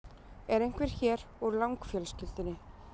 Er einhver hér úr Lang-fjölskyldunni?